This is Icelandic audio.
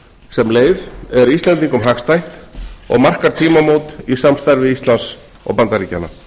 sem leið er íslendingum hagstætt og markar tímamót í samstarfi íslands og bandaríkjanna